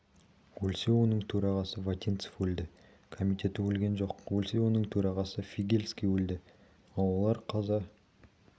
өлсе оның төрағасы вотинцев өлді комитеті өлген жоқ өлсе оның төрағасы фигельский өлді ал олар қаза